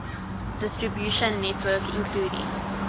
distribution network including